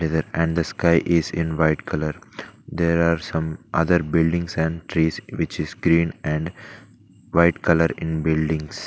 Either and the sky is in white colour there are some other buildings and trees which is green and white colour in buildings.